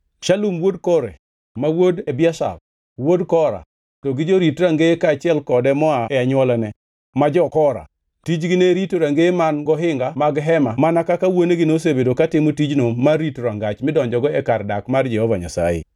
Shalum wuod Kore, ma wuod Ebiasaf, wuod Kora, to gi jorit rangeye kaachiel kode moa e anywolane, ma jokora, tijgi ne rito rangeye man gohinga mag Hema mana kaka wuonegi nosebedo katimo tijno mar rito rangach midonjogo e kar dak mar Jehova Nyasaye.